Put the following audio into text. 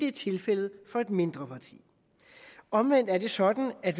er tilfældet for et mindre parti omvendt er det sådan at